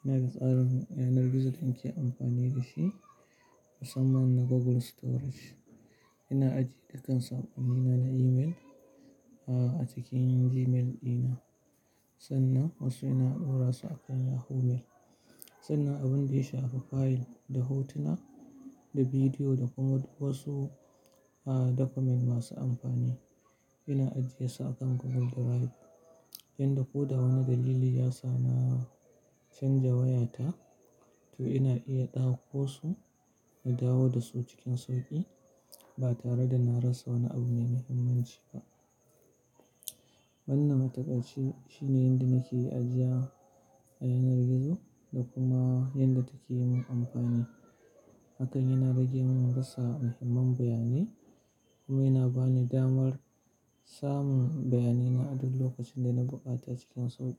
Ina da tsarin yanar gizo da nake amfani da shi, musamman na Google Storage. Ina ajiye dukkan saƙonnina na email, ah a cikin Gmail dina, sannan wasu ina ɗora su akan Yahoo Mail. Sannan abin da ya shafi fayil da hotuna da bidiyo da kuma wasu ah document masu amfani, ina ajiye su akan Google Drive. Inda ko da wane dalili ya sa na canja wayata, to ina iya ɗauko su na dawo da su cikin sauƙi ba tare da na rasa wani abu mai muhimmanci ba. Manne matakaci shine inda nake ajiya a yanar gizo da kuma inda take yi mun amfani. Akan ina rage mun rasa muhimman bayanai kuma yana ba ni damar samun bayanina a duk lokacin da na buƙata cikin sauƙi.